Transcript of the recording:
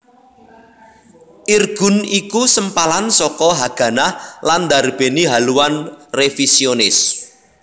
Irgun iku sempalan saka Haganah lan ndarbèni haluan révisionis